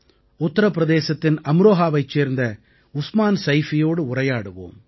உத்திரபிரதேசத்தின் அம்ரோஹாவைச் சேர்ந்த உஸ்மான் சைஃபீயோடு உரையாடுவோம்